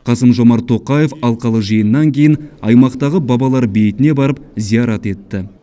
қасым жомарт тоқаев алқалы жиыннан кейін аймақтағы бабалар бейітіне барып зиярат етті